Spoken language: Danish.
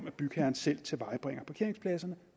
at bygherren selv tilvejebringer parkeringspladserne